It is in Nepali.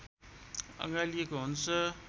अँगालिएको हुन्छ